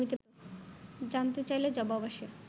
জানতে চাইলে জবাব আসে